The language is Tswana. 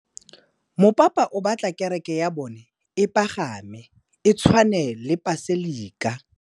Mopapa o batla kereke ya bone e pagame, e tshwane le paselika.